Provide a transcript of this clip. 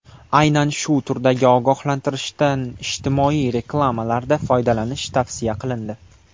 Aynan shu turdagi ogohlantirishdan ijtimoiy reklamalarda foydalanish tavsiya qilindi.